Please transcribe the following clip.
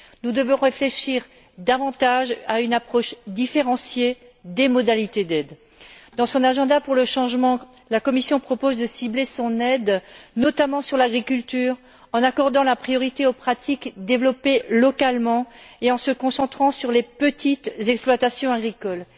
Nous devons réfléchir davantage à une approche différenciée des modalités d'aide. Dans son agenda pour le changement, la Commission propose de cibler son aide notamment sur l'agriculture, en accordant la priorité aux pratiques développées localement et en se concentrant sur les petites exploitations agricoles.